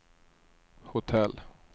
hotell